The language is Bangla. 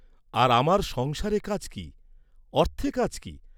আর আমার সংসারে কাজ কি; অর্থে কাজ কি?